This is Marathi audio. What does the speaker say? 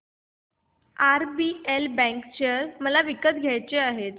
आरबीएल बँक शेअर मला विकत घ्यायचे आहेत